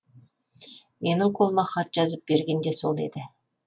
менің қолыма хат жазып берген де сол еді